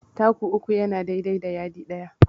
Taku uku yana dai dai da yadi ɗaya.